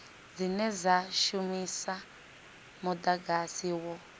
dzine dza shumisa mudagasi wo